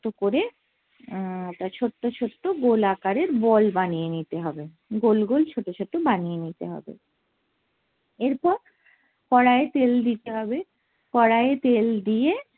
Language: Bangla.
শক্ত করে আহ ছোট্ট করে আহ ছোট্ট ছোট্ট গোল আকারের বল বানিয়ে নিতে হবে, গোল গোল ছোটো ছোটো বানিয়ে নিতে হবে এরপর কড়াইয়ে তেল দিতে হবে কড়াইয়ে তেল দিয়ে